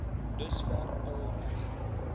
dusver al reg